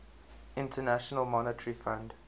international monetary fund